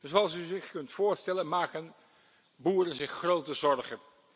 Zoals u zich kunt voorstellen, maken boeren zich grote zorgen.